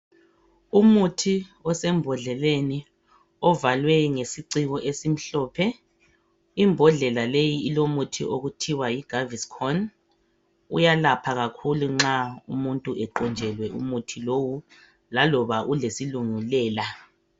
Umuthi osembhodleleni ovalwe ngesicingo esimhlophe imbhodlela leyi ilomuthi okuthiwa yiGaviscon uyalapha kakhulu nxa umuntu eqonjelwe umuthi lowo laloba ulesilungu lela